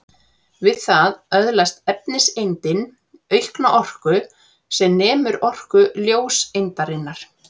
Við það öðlast efniseindin aukna orku sem nemur orku ljóseindarinnar.